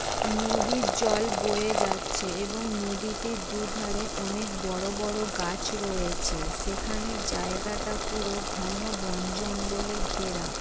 নদীর জল বয়ে যাচ্ছে এবং নদীটির দুই ধারে অনেক বড় বড় গাছ রয়েছে। সেখানে জায়গাটা পুরো ঘন বন জঙ্গলে ঘেরা।